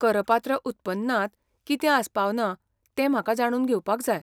करपात्र उत्पन्नांत कितें आस्पावना तें म्हाका जाणून घेवपाक जाय.